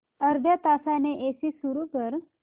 अर्ध्या तासाने एसी सुरू कर